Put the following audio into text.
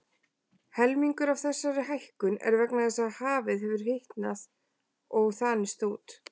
Helmingur af þessari hækkun er vegna þess að hafið hefur hitnað og þanist út.